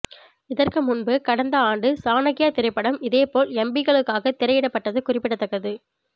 இதற்கு முன்பு கடந்த ஆண்டு சாணக்யா திரைப்படம் இதுபோல் எம்பிக்களுக்காக திரையிடப்பட்டது குறிப்பிடத்தக்கது